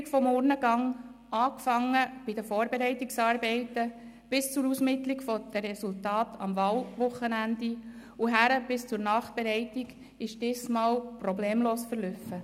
Die Durchführung des Urnengangs, angefangen bei den Vorbereitungen über die Ausmittlung der Resultate am Wahlwochenende bis zur Nachbereitung, ist dieses Mal problemlos verlaufen.